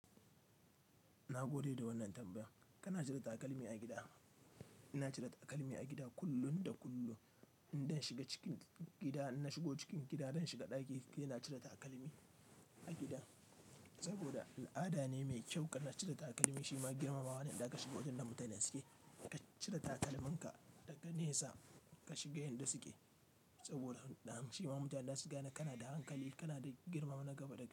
Na gode da wannan tambaya. Kana cire takalmi a gida? Ina cire takalmi a gida kullum da kullum. Indan shiga cikin gida, in na shigo cikin gida, zan shiga ɗaki, ina cire takalmi a gida. Saboda al'adane mai kyau kana cire takalmi shima girmamawane idan kashiga wurinda mutane suke, kacire takalminka daga nesa kashiga inda suke. Saboda han, shima mutanen zasu gane kanada hankali, kanada girmama na gaba dakai.